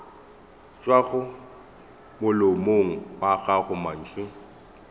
tšwago molomong wa gago mantšu